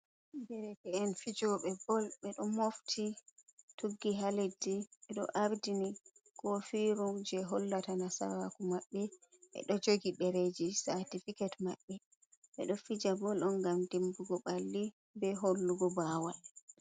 Derke en fijobe bol ɓe ɗo mofti tuggi ha leddi, ɓe ɗo ardini kofiru je hollata nasaraku maɓɓe, ɓe ɗo jogi dereji cartifiket maɓɓe ɓeɗo fija Bol on ngam dimbugo ɓalli be hollugo bawal.